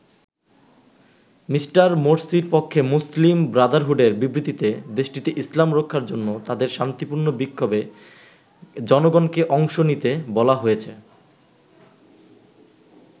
Me. মোরসির পক্ষে মুসলিম ব্রাদারহুডের বিবৃতিতে দেশটিতে ইসলাম রক্ষার জন্য তাদের শান্তিপূর্ণ বিক্ষোভে জনগণকে অংশ নিতে বলা হয়েছে।